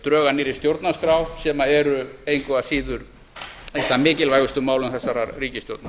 drög að nýrri stjórnarskrá sem eru engu að síður eitt af mikilvægustu málum þessarar ríkisstjórnar